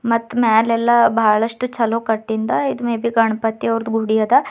ಮತ್ತ ಮ್ಯಾಲೆಲ್ಲ ಬಹಳಷ್ಟು ಚಲೋ ಕಟ್ಟಿಂದ ಇದು ಮೇಬಿ ಗಣಪತಿ ಅವರದು ಗುಡಿ ಅದ.